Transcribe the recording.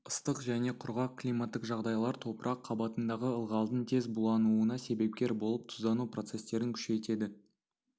ыстық және құрғақ климаттық жағдайлар топырақ қабатындағы ылғалдың тез булануына себепкер болып тұздану процестерін күшейтеді